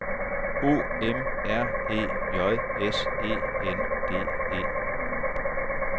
O M R E J S E N D E